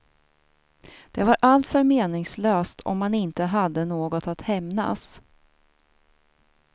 Det var alltför meningslöst om man inte hade något att hämnas.